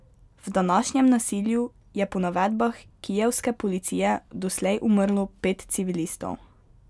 V današnjem nasilju je po navedbah kijevske policije doslej umrlo pet civilistov.